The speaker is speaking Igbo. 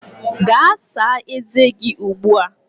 Gaa saa ezé gị ugbu a!